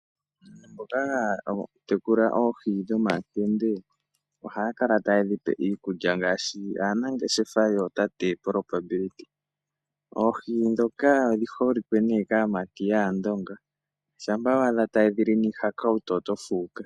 Mboka hakala taya tekula oohi dhomakende oha kala tayedhipe iikulya ngeshi anangeshefa yotate propability, oohi dhoka odhihole ne kaamati yaandonga shapa weyadha tayedhili niihakawutu oto fuka.